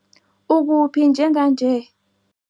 Ukuphi njenganje?